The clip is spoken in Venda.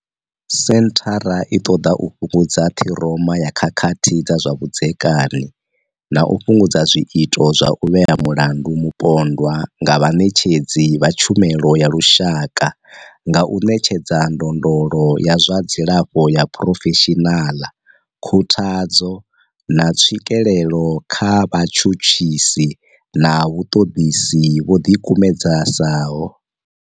Senthara i ṱoḓa u fhungudza ṱhiroma ya khakhathi dza zwa vhudzekani na u fhungudza zwiito zwa u vhea mulandu mupondwa nga vhaṋetshedzi vha tshumelo ya lushaka nga u ṋetshedza ndondolo ya zwa dzilafho ya phurofeshinala, khuthadzo, na tswikelo kha vhatshutshisi na vhaṱoḓisi vho ḓikumedzaho, zwoṱhe zwi fhethu huthihi.